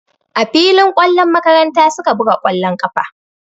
A filin ƙwallon makaranta su ka buga ƙwallon ƙafa.